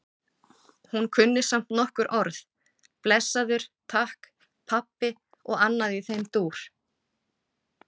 Hún kunni samt nokkur orð- blessaður, takk, pabbi og annað í þeim dúr.